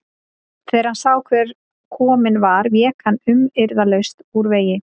Þegar hann sá hver kominn var vék hann umyrðalaust úr vegi.